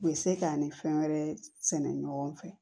U bɛ se k'an ni fɛn wɛrɛ sɛnɛ ɲɔgɔn fɛ